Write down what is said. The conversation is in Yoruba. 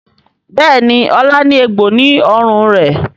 Béèni Ola ní egbò ní ọrùn rẹ.